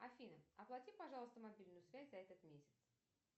афина оплати пожалуйста мобильную связь за этот месяц